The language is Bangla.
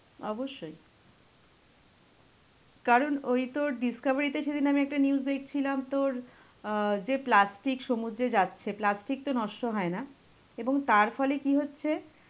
অবশ্যই. কারণ ওই তোর Discovery তে সেদিন আমি একটা news দেখছিলাম তোর অ্যাঁ যে plastic সমুদ্রে যাচ্ছে,` plastic তো নষ্ট হয় না. এবং তার ফলে কি হচ্ছে